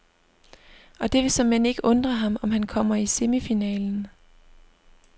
Og det vil såmænd ikke undre ham, om han kommer i semifinalen.